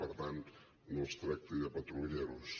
per tant no els tracti de patrulleros